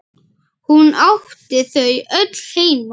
Hún átti þau öll heima.